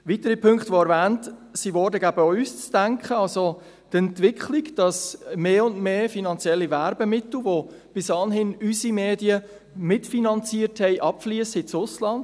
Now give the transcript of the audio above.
Weitere Punkte, die erwähnt wurden, geben auch uns zu denken, so die Entwicklung, dass mehr und mehr finanzielle Werbemittel, die bis anhin unsere Medien mitfinanzierten, ins Ausland abfliessen.